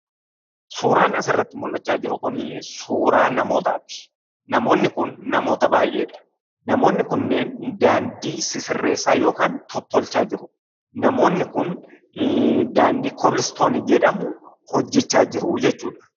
Suuraan asirratti mul'achaa jiru kunii suuraa namootaati. Namoonni kun namoota baay'eedha. Namoonni kunneen daandii sisirreessaa yookaan tottolchaa jiru. Namoonni kun daandii koobil istoonii jedhamu hojjechaa jiruu jechuudha.